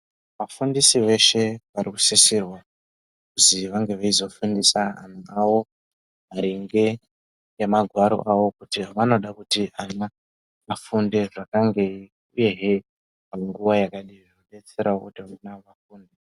Vafundisi veshe vanosisirwa kuzi vange veizofundisa vana vavo maringe nemagwaro avo kuti vanode kuti vana vafunde zvakangei uyezve munguwa yakadini zvinodetserawo kuti vana ava vafunde.